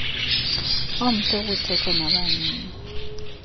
omhle ukuthetha nabanini